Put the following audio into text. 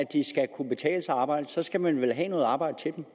arbejde skal man vel have noget arbejde til dem